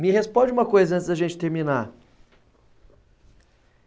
Me responde uma coisa antes da gente terminar.